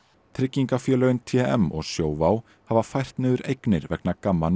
tryggingafélögin t m og Sjóvá hafa fært niður eignir vegna GAMMA